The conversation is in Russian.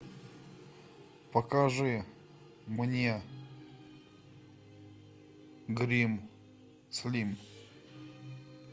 покажи мне грим слим